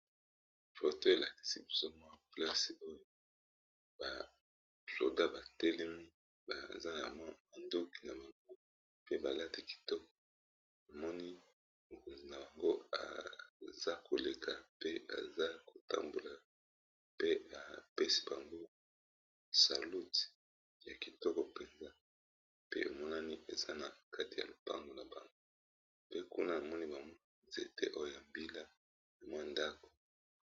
foto elakisi bozomo a plase oyo basoda batelemi baza na mwa bandoki na bango pe balati kitoko emoni mokonzi na bango aza koleka pe aza kotambola pe epesi bango saluti ya kitoko mpenza pe emonani eza na kati ya lopango na bango pe kuna amoni bamo nzete oyo ya mbila ya mwa ndako